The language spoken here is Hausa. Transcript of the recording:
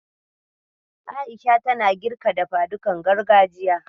A'isha ta girka dafadukan gargajiya.